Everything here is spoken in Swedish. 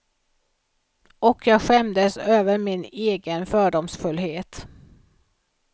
Och jag skämdes över min egen fördomsfullhet.